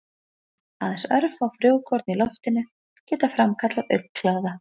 Aðeins örfá frjókorn í loftinu geta framkallað augnkláða.